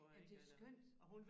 Ja men det jo skønt